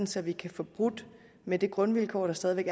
så vi kan få brudt med det grundvilkår der stadig væk